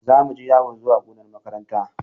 Za mu je yawo zuwa gonar makaranta.